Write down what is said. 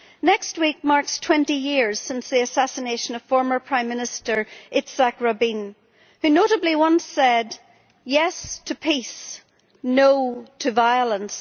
Next week marks 20 years since the assassination of former Prime Minister Yitzhak Rabin, who notably once said Yes to peace, no to violence'.